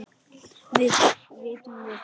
Vitum við það?